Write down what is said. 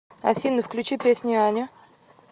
афина включи песня аня